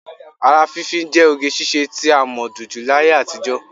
Ara fínfín jẹ́ oge ṣiṣẹ́ tí a mọ̀ dunjú láyé àtijọ́